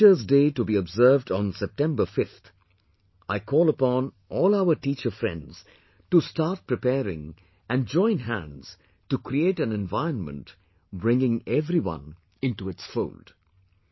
With Teachers day to be observed on September 5th, I call upon all our teacher friends to start preparing and join hands to create an environment bringing everyone into its fold